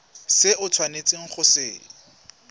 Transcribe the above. se o tshwanetseng go se